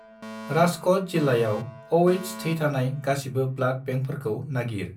राजक'ट जिल्लायाव Oh- थै थानाय गासिबो ब्लाड बेंकफोरखौ नागिर।